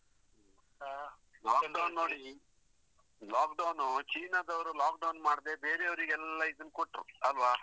ಹಾ lockdown ನೋಡಿ, lockdown China ದವರು lockdown ಮಾಡದೆ ಬೇರೆಯವರಿಗೆ ಎಲ್ಲ ಇದನ್ನ್ ಕೊಟ್ರು ಅಲ್ವಾ?